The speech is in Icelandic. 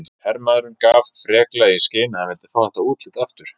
Hermaðurinn gaf freklega í skyn að hann vildi fá þetta útlit aftur.